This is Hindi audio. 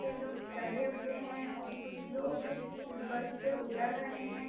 पे लोग जुड़े हुए हैं और कुछ लोग इस बस से उतर रहे हैं।